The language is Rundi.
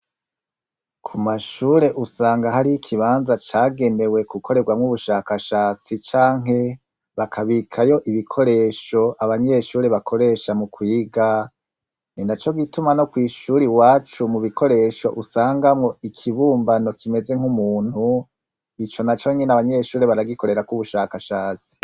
Kumashure usanga harih'ikibanza cagenewe gukoregwamwo ubushakashatsi canke bakakibikamwo ibikoresho abanyeshure bakoresha mukwiga. Ninacogituma no kw'ishuri iwacu mubikoresho usangamwo ikibumbano kimeze nk'umuntu. Ico nabonye abanyeshure baragikorerako ubushakashatsi.